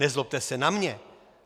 Nezlobte se na mě!